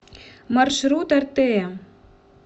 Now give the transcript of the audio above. маршрут артея